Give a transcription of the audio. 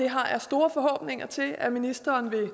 har store forhåbninger til at ministeren vil